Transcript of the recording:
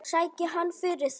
Sæki hann fyrir þig.